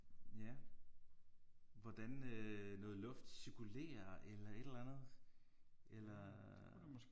Ja hvordan øh noget luft cirkulerer eller et eller andet eller